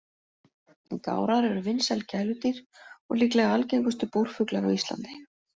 Gárar eru vinsæl gæludýr og líklega algengustu búrfuglar á Íslandi.